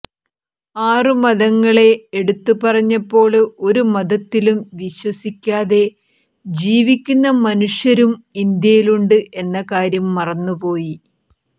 ആറു മതങ്ങളെ എടുത്തുപറഞ്ഞപ്പോള് ഒരു മതത്തിലും വിശ്വസിക്കാതെ ജീവിക്കുന്ന മനുഷ്യരും ഇന്ത്യയിലുണ്ട് എന്ന കാര്യം മറന്നു പോയി